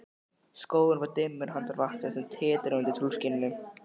Skógurinn var dimmur handan vatnsins, sem titraði undir tunglskininu.